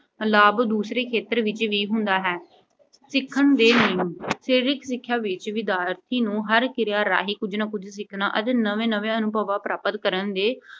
ਲਾਭ ਦੂਸਰੇ ਖੇਤਰ ਵਿੱਚ ਵੀ ਹੁੰਦਾ ਹੈ। ਸਿੱਖਣ ਦੇ ਨਿਯਮ। ਸਰੀਰਕ ਸਿੱਖਿਆ ਵਿੱਚ ਵਿਦਿਆਰਥੀ ਨੂੰ ਹਰ ਕਿਰਿਆ ਰਾਹੀਂ ਕੁਝ ਨਾ ਕੁਝ ਸਿੱਖਣਾ ਅਤੇ ਨਵੇਂ ਨਵੇਂ ਅਨੁਭਵ ਪ੍ਰਾਪਤ ਕਰਨ ਦੇ